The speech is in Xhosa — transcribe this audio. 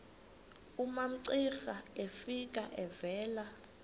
umamcira efika evela